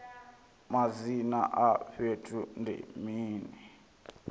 madzina a fhethu ndi mini